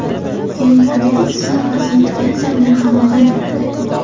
Ya’ni kredit stavkasi inflyatsiya bilan hamohang yuradi.